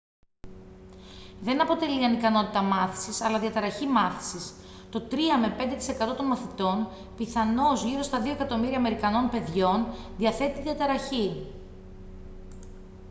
δεν αποτελεί ανικανότητα μάθησης αλλά διαταραχή μάθησης. «το 3-5% των μαθητών πιθανώς γύρω στα 2 εκατομμύρια αμερικανών παιδιών διαθέτει τη διαταραχή»